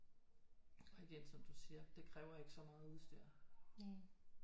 Og igen som du siger det kræver ikke så meget udstyr